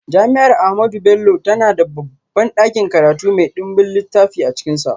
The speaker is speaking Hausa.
Jami’ar Ahmadu Bello tana da babban dakin karatu mai dimbin littafai a cikinsa.